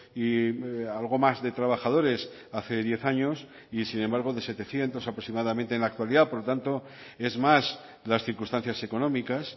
y algo más de trabajadores hace diez años y sin embargo de setecientos aproximadamente en la actualidad por lo tanto es más las circunstancias económicas